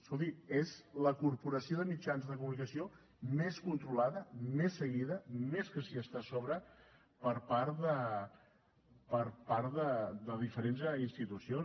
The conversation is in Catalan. escolti és la corporació de mitjans de comunicació més controlada més seguida que s’hi està més a sobre per part de diferents institucions